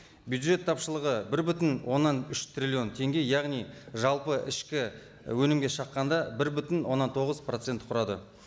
бюджет тапшылығы бір бүтін оннан үш триллион теңге яғни жалпы ішкі өнімге шаққанда бір бүтін оннан тоғыз процент құрады